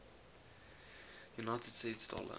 united states dollar